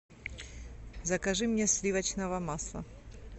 закажи мне сливочного масла